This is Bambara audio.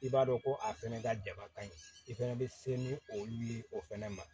I b'a dɔn ko a fɛnɛ ka daba ka ɲin i fɛnɛ bɛ se ni olu ye o fɛnɛ ma